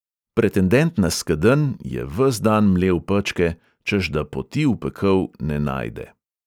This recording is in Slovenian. Pretendent na skedenj je ves dan mlel pečke, češ da poti v pekel ne najde.